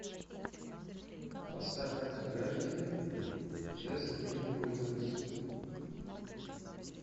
поставь анти гравити зис нью пуританс